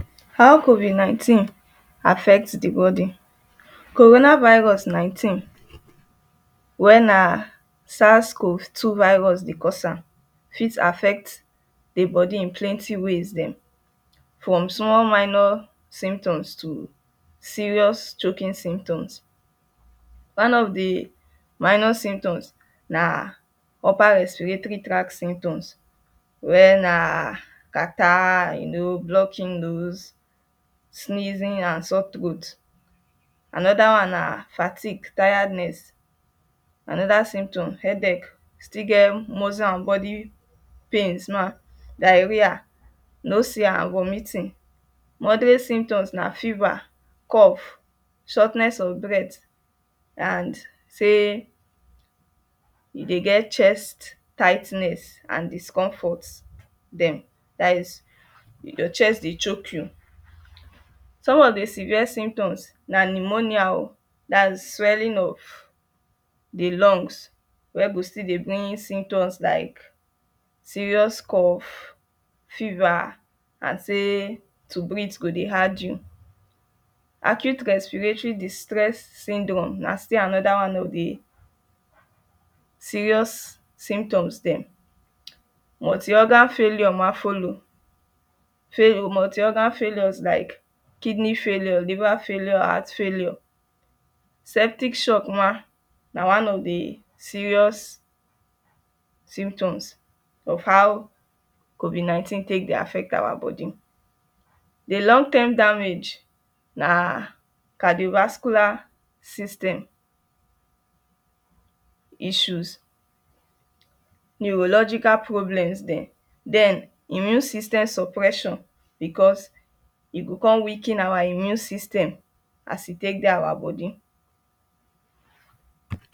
How covid nineteen affects the body. Corona Virus nineteen where na sasco two virus dey cause am fit affect the body in plenty ways dem from small minor symptoms to serious choking symptoms one of the mi or symptoms na upper respiratory tyract symptoms where na catarrh, blocking nose sneezing and sore throat anoda one na fatigue, tiredness. anoda symptom headache e still get muscle an body pains nah diarrhea nausea and vomiting. moderate symptoms na fever, cough, shortness of breath and sey e dey get chest tightness an discomfort dem that is your chest the choke you some of the severe symptoms na pneumonia an swelling of the lungs wey go still dey bring symptoms like serious cough, fever an sey to breathe go dey hard you. acute respiratory distress syndrome na still anoda one of the serious symptoms dem. multi organ failure ma follow. multi organs failure like kidney failure, liver failure, heart failure peptic shock ma one of the serious symptoms of how COVID nineteen take dey affect our body the long term damage na cardiovascular system issues neurological problems dem den immune system suppression because e go come weaken our immune system as e take dey our body.